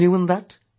What is new in that